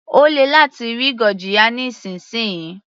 Ó lè láti rí gurjiya nísìnsisìyí.